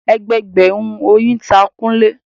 Ẹgbẹẹgbẹ̀rún oyin ta Kunle